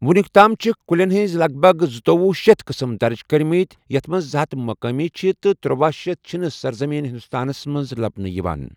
وُنیُکتام چھِکھ کُلٮ۪ن ہٕنٛز لَگ بَگ زُتوۄہ شیتھ قٕسٕم درٕج کٔرمٕتۍ یَتھ منٛز زٕ ہتھ مقٲمی چھِ تہٕ ترٔۄہ شیتھ چھِنہٕ سرزٔمین ہندوستانَس منٛز لَبنہٕ یِوان۔